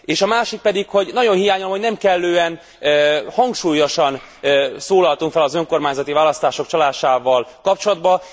És a másik pedig, hogy nagyon hiányolom, hogy nem kellően hangsúlyosan szólaltunk föl az önkormányzati választások csalásával kapcsoltban.